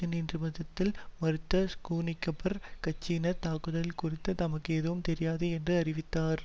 நீதிமன்றத்தில் மறுத்த ஸ்கூன்கிரபர் கட்சிசார் தாக்குதல் குறித்து தமக்கு எதுவும் தெரியாது என்று அறிவித்தார்